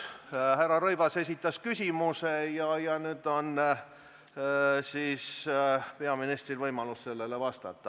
Härra Rõivas juba esitas küsimuse ja nüüd on siis peaministril võimalus sellele vastata.